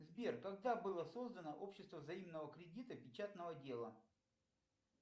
сбер когда было создано общество взаимного кредита печатного дела